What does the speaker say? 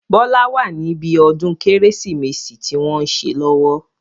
Bọlá wá ní bí ọdún Kérésìmesì tí wọn ń ṣe lọ́wọ́.